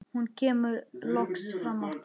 Hún kemur loks fram aftur.